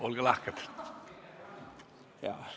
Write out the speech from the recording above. Olge lahke!